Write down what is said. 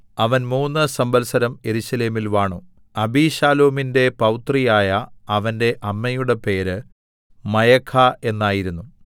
അവൻ മൂന്ന് സംവത്സരം യെരൂശലേമിൽ വാണു അബീശാലോമിന്റെ പൗത്രി ആയ അവന്റെ അമ്മയുടെ പേര് മയഖാ എന്നായിരുന്നു